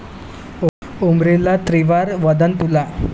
उर्मिला त्रिवार वंदन तुला